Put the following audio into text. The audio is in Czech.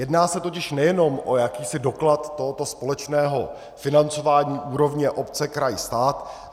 Jedná se totiž nejenom o jakýsi doklad tohoto společného financování úrovně obce - kraj - stát.